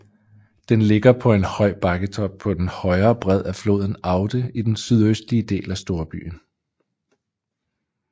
Den ligger på en høj bakketop på den højre bred af floden Aude i den sydøstlige del af storbyen